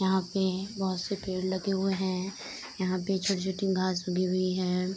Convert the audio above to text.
यहाँ पे बहोत से पेड़ लगे हुए हैं। यहाँ पे छोटी-छोटी घास उगी हुई हैं।